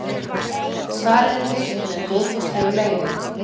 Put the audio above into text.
Svarið er birt með góðfúslegu leyfi.